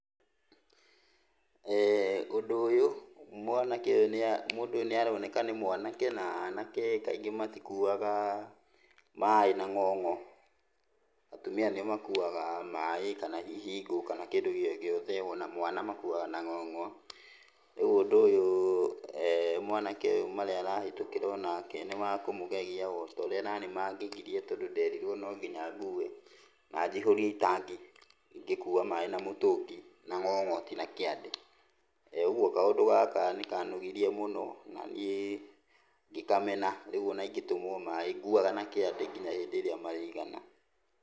Ũndũ ũyũ mwanake ũyũ nĩa mũndũ ũyũ nĩaroneka nĩ mwanake, na anake kaingĩ matikuaga maĩ na ng'ong'o. Atumia nĩo makuaga maĩ, kana hihi ngũ, kĩndũ o gĩothe, ona mwana makuaga na ng'ong'o. Rĩu ũndũ ũyũ mwanake ũyũ marĩa arahĩtũkĩra onake nĩmakũmũgegia otaũrĩa onaniĩ mangegirie tondũ nderirwo no nginya ngue, na njihũrie itangi, ngĩkua maĩ na ng'ong'o ti na kĩande. Ũguo kaũndũ gaka nĩkanogirie mũno na niĩ ngĩkamena, rĩu ona ingĩtũmwo maĩ nguaga na kĩande kinya hĩndĩ ĩrĩa marĩigana .